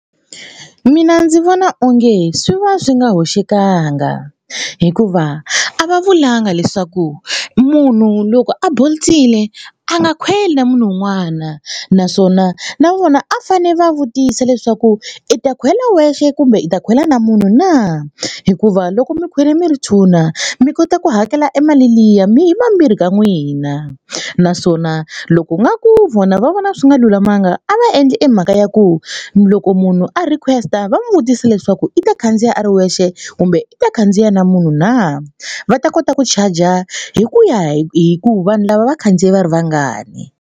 Mina ndzi vona onge swi va swi nga hoxekangi hikuva a va vulanga leswaku munhu loko a bolt-ile a nga khweli na munhu un'wana naswona na vona a fane va vutisa leswaku i ta khwela wexe kumbe i ta khwela na munhu na hikuva loko mi khwela mi ri two mi kota ku hakela e mali liya mi hi vambirhi ka n'wina naswona loko nga ku vona va vona swi nga lulamanga a va endli emhaka ya ku loko munhu a request-a va n'wi vutisa leswaku i ta khandziya a ri wexe kumbe i ta khandziya na munhu na va ta kota ku chaja hi ku ya hi ku vanhu lava va khandziye va ri vangani.